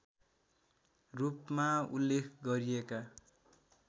रूपमा उल्लेख गरिएका